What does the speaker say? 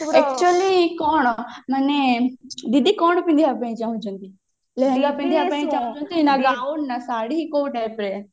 actually କଣ ଡିଡି କଣ ପିନ୍ଧିବା ପାଇଁ ଚାହୁଛନ୍ତି ଲେହେଙ୍ଗା ପିନ୍ଧିବା ପାଇଁ ଚାହୁଛନ୍ତି ନା ବ୍ରାଉନ ନା ଶାଢୀ କୋଉ typeରେ